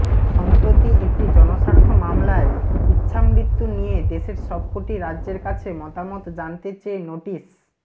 সম্প্রতি একটি জনস্বার্থ মামলায় ইচ্ছামৃতু নিয়ে দেশের সবকটি রাজ্যের কাছে মতামত জানতে চেয়ে নোটিশ